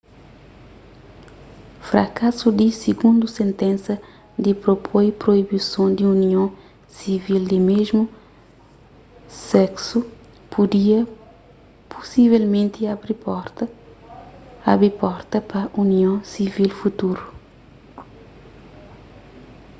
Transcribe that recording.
frakasu di sigundu sentensa ki propoi proibison di union sivil di mésmu seksu pudia pusivelmenti abi porta pa union sivil futuru